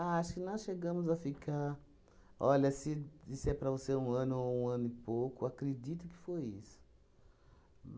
acho que nós chegamos a ficar... Olha, se disser para você um ano ou um ano e pouco, acredito que foi isso.